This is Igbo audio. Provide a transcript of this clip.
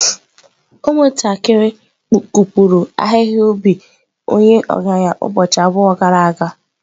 Ụmụntakịrị kụpụrụ ahihia ubi onye ọgaranya ubọchi abụọ gara aga.